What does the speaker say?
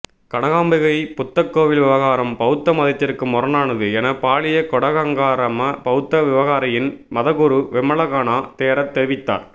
கனகாம்பிகை புத்தகோவில் விவகாரம் பௌத்த மதத்திற்கு முரணானது என பாலியகொட கங்காராம பௌத்த விகாரையின் மதகுரு விமலகனா தேரர் தெரிவித்தார்